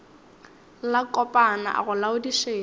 la kopana a go laodišetša